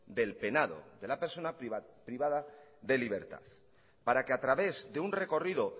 del penado de la persona privada de libertad para que a través de un recorrido